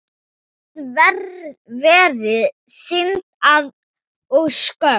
Það væri synd og skömm.